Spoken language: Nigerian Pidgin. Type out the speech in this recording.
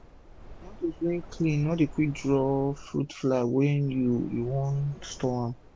tomatoes wey clean no dey quick draw fruit fly wen you you wan store am